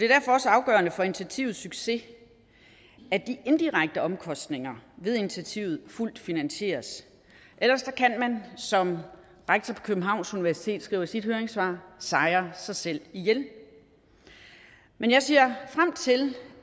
derfor også afgørende for initiativets succes at de indirekte omkostninger ved initiativet fuldt finansieres ellers kan man som rektor på københavns universitet skriver i sit høringssvar sejre sig selv ihjel men jeg ser frem til